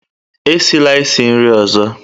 Esila isi nri ọzọ!